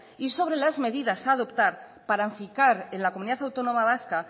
y sobre las medidas a adoptar para afincar en la comunidad autónoma vasca